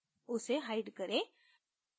उसे hide करें